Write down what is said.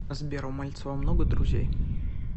сбер у мальцева много друзей